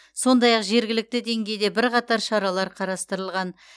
сондай ақ жергілікті деңгейде бірқатар шаралар қарастырылған